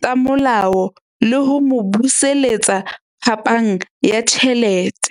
tsa molao le ho mo buseletsa phapang ya tjhelete.